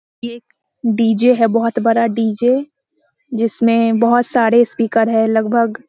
यह एक डी.जे. है बहुत बड़ा डी.जे. जिसमें बहुत सारे स्पीकर हैं लगभग --